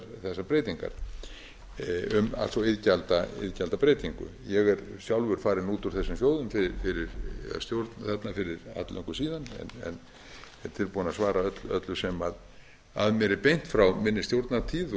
þessar breytingar um allt svo iðgjaldabreytingu ég er sjálfur farinn út úr þessum sjóðum eða stjórn þarna fyrir alllöngu síðan en er tilbúinn að svara öllu sem að mér er beint frá minni stjórnartíð